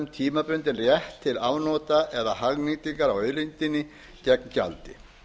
tímabundinn rétt til afnota eða hagnýtingar á auðlindinni gegn gjaldi